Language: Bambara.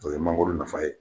O ye mangoro nafa ye